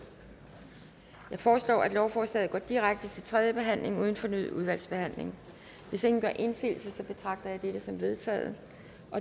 jeg foreslår at lovforslaget går direkte til tredje behandling uden fornyet udvalgsbehandling hvis ingen gør indsigelse betragter jeg dette som vedtaget